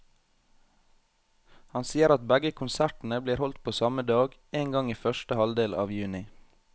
Han sier at begge konsertene blir holdt på samme dag, en gang i første halvdel av juni.